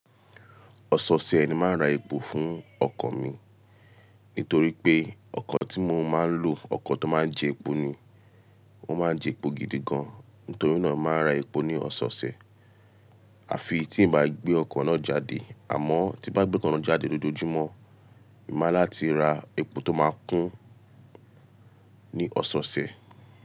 Ọ̀sọ̀ọ̀ṣẹ̀ ni màá ra epo fún ọkọ̀ mi. Nítorí pé ọkọ̀ tí mo máa ń lò, ọkọ̀ tó máa ń jẹ epo ni. O máa ń jẹ epo gidi gan. Nítorí náà, mo màá n ra epo ní ọ̀sọ̀ọ̀ṣẹ̀. Àfi tí ì n bá gbé ọkọ̀ náà jáde. Àmọ́ tí n bá gbé ọkọ̀ náà jáde lójoojúmọ́, mo máa ni láti ra epo tó máa kún ní ọ̀sọ̀ọ̀ṣẹ̀.